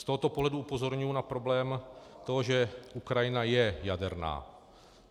Z tohoto pohledu upozorňuji na problém toho, že Ukrajina je jaderná.